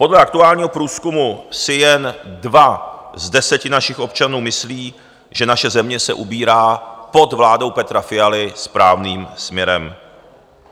Podle aktuálního průzkumu si jen dva z deseti našich občanů myslí, že naše země se ubírá pod vládou Petra Fialy správným směrem.